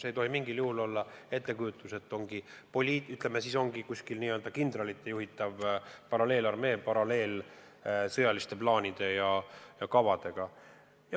Ei tohi mingil juhul olla ettekujutus, et kuskil on n-ö kindralite juhitav paralleelarmee, paralleelsete sõjaliste plaanide ja kavadega.